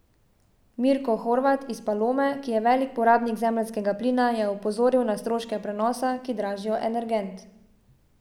Mirko Horvat iz Palome, ki je velik porabnik zemeljskega plina, je opozoril na stroške prenosa, ki dražijo energent.